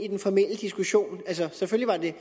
i den formelle diskussion altså selvfølgelig